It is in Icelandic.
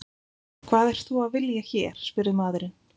Hvað ert þú að vilja hér? spurði maðurinn.